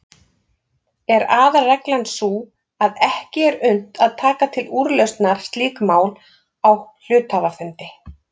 Er aðalreglan sú að ekki er unnt að taka til úrlausnar slík mál á hluthafafundi.